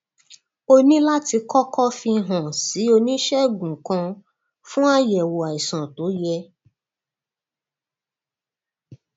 o ní láti kókó fi hàn án sí oníṣègùn kan fún àyèwò àìsàn tó yẹ